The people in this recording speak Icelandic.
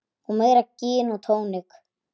Og meira gin og tónik.